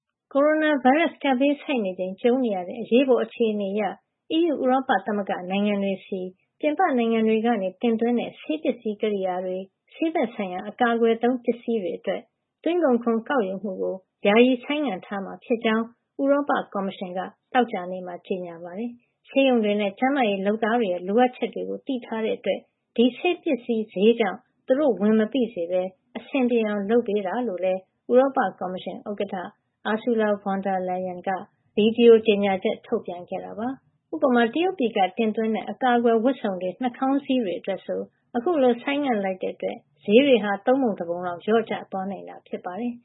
ကိုရိုနာဗိုင်းရပ်စ် ကပ်ဘေးဆိုက်နေချိန် ကြုံနေရတဲ့ အရေးပေါ် အခြေနေအရ အီးယူ ဥရောပသမဂ္ဂနိုင်ငံတွေဆီ ပြင်ပနိုင်ငံတွေကနေ တင်သွင်းတဲ့ ဆေးပစ္စည်း ကရိယာတွေ ဆေးဘက်ဆိုင်ရာ အကာအကွယ်သုံး ပစ္စည်းတွေအတွက် သွင်းကုန်ခွန် ကောက်ယူမှုကို ယာယီဆိုင်းငံ့ ထားမှာ ဖြစ်ကြောင်း ဥရောပ ကော်မရှင်က သောကြာနေ့မှာ ကြေညာပါတယ်။ ဆေးရုံတွေနဲ့ ကျန်းမာရေးလုပ်သားတွေရဲ့ လိုအပ်ချက်တွေကို သိထားတဲ့ အတွက် ဒီဆေးပစ္စည်း ဈေးကြောင့် သူတို့ဝန်မပိစေပဲ အဆင်ပြေအောင် လုပ်ပေးတာ ဖြစ်ကြောင်း ဥရောပ ကော်မရှင် ဥက္ကဌ Ursula Von der Leyen က ဗွီဒီယို ကြေညာချက် ထုတ်ပြန်ခဲ့တာပါ။ ဥပမာ-တရုတ်ပြည်က တင်သွင်းတဲ့ အကာကွယ်ဝတ်စုံ တွေ နှာခေါင်းစည်း တွေ အတွက်ဆို အခုလို ဆိုင်းငံ့လိုက်တဲ့ အတွက် ဈေးတွေဟာ သုံးပုံ တပုံလောက် လျော့ကျ သွားနိုင်တာ ဖြစ်ပါတယ်